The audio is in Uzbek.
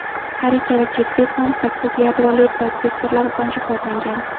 Har ikkala chipset ham sakkiz yadroli protsessorlar bilan jihozlangan.